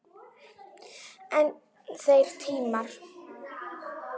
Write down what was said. En þeir tímar!